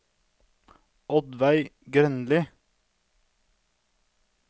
Oddveig Grønli